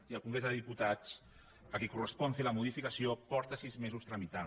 i el congrés dels diputats a qui correspon fer la modificació fa sis mesos que la tramita